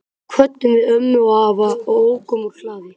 Svo kvöddum við ömmu og afa og ókum úr hlaði.